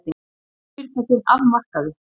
Orkufyrirtækin af markaði